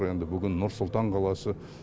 енді бүгін нұр сұлтан қаласы